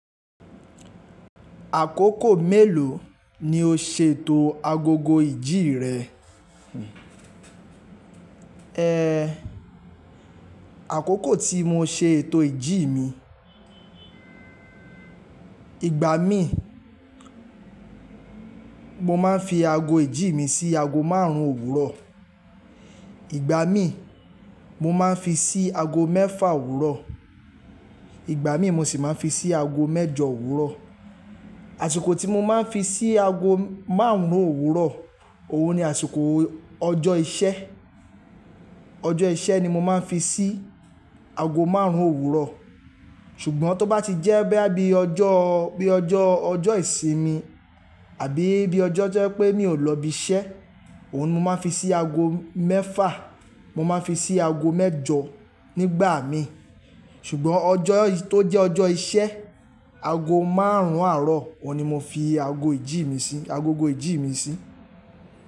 Àkókò mélòó ni o ṣe ètò agogo ìjí rẹ? Àkókò tí mo ṣe ètò ìjí mi, ìgbà mí mo máa ń fi ago ìjí mi sí ago márùn-ún òwúrọ̀. Ìgbà mí mo máa ń fi sí ago mẹ́fà òwúrọ̀. Ìgbà mí mo sì máa ń fi sí ago mẹ́jọ òwúrọ̀. Àṣìkò tí mo máa ń fi sí ago márùn-ún òwúrọ̀, òun ni àsìkò ọjọ́ iṣẹ́. Ọjọ́ iṣẹ́ ni mo máa ń fi sí ago márùn-ún òwúrọ̀. Ṣùgbọ́n tó bá ti jẹ́ boya bí i ọjọ́, bí i ọjọ́, ọjọ́ ìsinmi àbí bí i ọjọ́ to jẹ pé mi ò lọ bi iṣẹ́, òun ni mo máa fi sí ago mẹ́fà, mo máa fi sí ago mẹ́jọ nígbà mí. Ṣùgbọ́n ọjọ́ tó jẹ́ ọjọ́ iṣẹ́, ago márùn-ún àárọ̀, òun ni mo fi ago ìjí mi sí, agogo ìjí mi sí.